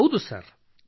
ಹೌದು ಸರ್ ಮತ್ತಿನ್ನೇನು